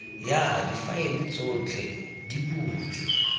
ya difaele tsotlhe di butswe